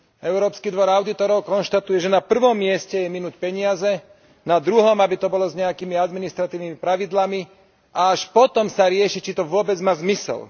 Európsky dvor audítorov konštatuje, že na prvom mieste je minúť peniaze, na druhom, aby to bolo s nejakými administratívnymi pravidlami, a až potom sa rieši, či to vôbec má zmysel.